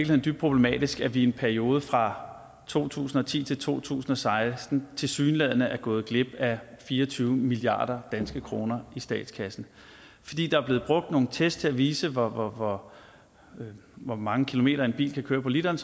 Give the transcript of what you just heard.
dybt problematisk at vi i en periode fra to tusind og ti til to tusind og seksten tilsyneladende er gået glip af fire og tyve milliard kroner i statskassen fordi der er blevet brugt nogle test til at vise hvor hvor mange kilometer en bil kan køre på literen